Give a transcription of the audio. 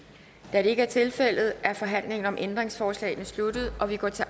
da det ikke er tilfældet er forhandlingen om ændringsforslagene sluttet og vi går til